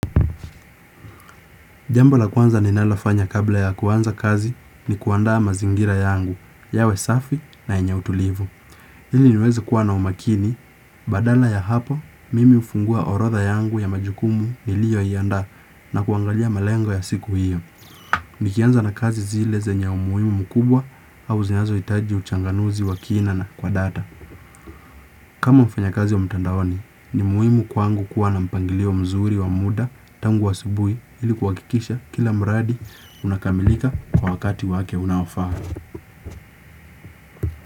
Jambol a kwanza ninalofanya kabla ya kuanza kazi ni kuandaa mazingira yangu, yawe safi na yenye utulivu. Hili niweze kuwa na umakini, badala ya hapo, mimi hufungua orodha yangu ya majukumu nilioiandaa na kuangalia malengo ya siku hiyo. Nikianza na kazi zile zenye umuimu mukubwa au zinazoitaji uchanganuzi wa kina na kwa data. Kama mfanyakazi wa mtandaoni ni muhimu kwangu kuwa na mpangilio mzuri wa muda tangu asibui ili kuwakikisha kila mradi unakamilika kwa wakati wake unaofaa.